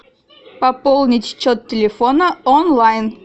пополнить счет телефона онлайн